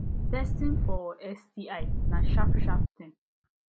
testing for sti na sharp sharp thing